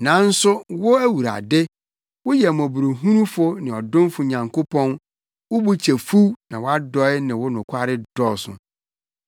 Nanso wo, Awurade, woyɛ mmɔborɔhunufo ne ɔdomfo Nyankopɔn, wo bo kyɛ fuw, na wʼadɔe ne wo nokware dɔɔso.